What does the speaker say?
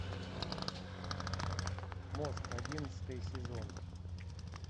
мост одиннадцатый сезон